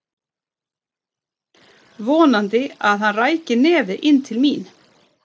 Vonaði að hann ræki nefið inn til mín.